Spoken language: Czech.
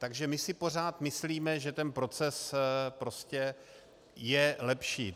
Takže my si pořád myslíme, že ten proces prostě je lepší.